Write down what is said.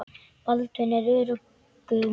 Baldvin var í öruggum höndum.